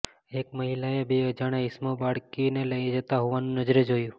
એક મહિલાએ બે અજાણ્યા ઇસમો બાળકીને લઈ જતાં હોવાનું નજરે જોયું